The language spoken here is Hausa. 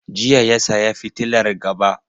Jiya ya saya fitilar gaba.